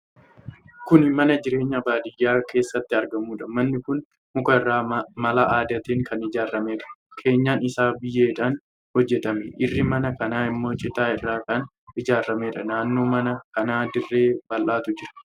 Kun mana jireenyaa baadiyyaa keessatti argamuudha. Manni kun muka irraa mala aadaatiin kan ijaarameedha. Keenyan isaa biyyeedhaan hojjetame. Irri mana kanaa immoo citaa irraa kan ijaarameedha. Naannoo mana kanaa dirree bal'aatu jira.